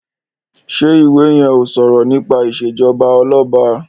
ṣe iwè yén o sọrọ nípa ìṣèjọba Ọlọba?